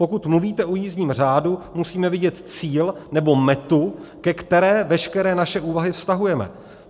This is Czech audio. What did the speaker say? Pokud mluvíte o jízdním řádu, musíme vidět cíl nebo metu, ke které veškeré naše úvahu vztahujeme.